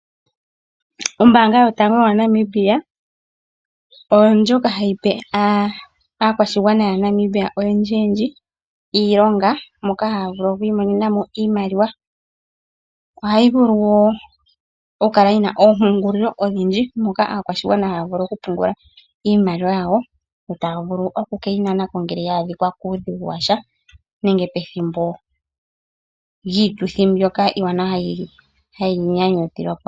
Ombaanga yotango yopashigwana oyo ndjoka hayi pe aakwashigwana yaNamibia oyendjiyendji iilonga moka haya vulu okuimonena mo iimaliwa. Ohayi vulu wo okukala yi na oompungulilo odhindji moka aakwashigwana haya vulu okupungula iimaliwa yawo yo taya vulu oku ke yi nana ko uuna ya adhika kuudhigu wa sha nenge pethimbo lyiituthi yomanyanyu.